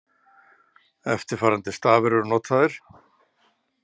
Eftirfarandi stafir eru notaðir: